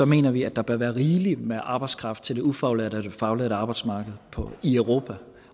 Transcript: mener vi at der bør være rigelig med arbejdskraft til det ufaglærte og faglærte arbejdsmarked i europa